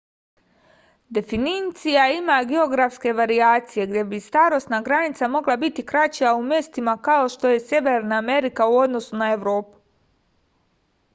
definicija ima geografske varijacije gde bi starosna granica mogla biti kraća u mestima kao što je severna amerika u odnosu na evropu